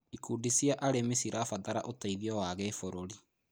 Ikundi cia arĩmi cirabatara ũteithio wa kĩbũrũri.